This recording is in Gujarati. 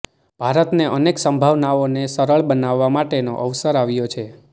ભારતને અનેક સંભાવનાઓને સરળ બનાવવા માટેનો અવસર આવ્યો છે